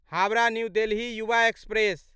Howrah New Delhi Yuva express